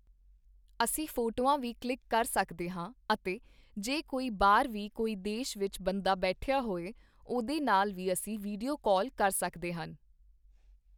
ਅਸੀਂ ਫੋਟੋੇਆਂ ਵੀ ਕਲਿੱਕ ਕਰ ਸਕਦੇ ਹਾਂ ਅਤੇ ਜੇ ਕੋਈ ਬਾਹਰ ਵੀ ਕੋਈ ਦੇਸ਼ ਵਿੱਚ ਬੰਦਾ ਬੈਠਿਆ ਹੋਏ ਉਹਦੇ ਨਾਲ ਵੀ ਅਸੀਂ ਵੀਡੀਉ ਕਾਲ ਕਰ ਸਕਦੇ ਹਨ